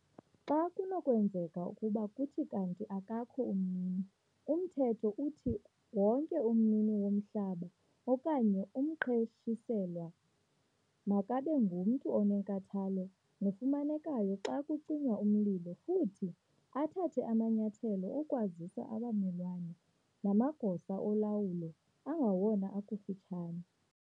Xa kunokwenzeka ukuba kuthi kanti akakho umnini, uMthetho uthi wonke umnini womhlaba okanye umqeshiselwa makabe ngumntu onenkathalo nofumanekayo xa kucinywa umlilo futhi athathe amanyathelo okwazisa abamelwane namagosa olawulo angawona akufutshane.